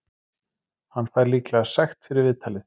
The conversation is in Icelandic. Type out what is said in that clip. Hann fær líklega sekt fyrir viðtalið.